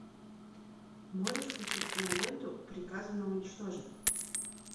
можешь включить киноленту приказано уничтожить